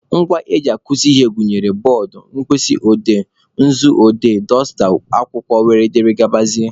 Ngwa eji akuzi ihe gụnyere bọọdụ, mkpịsị odee, nzu odee, dọsta, akwụkwọ wdg.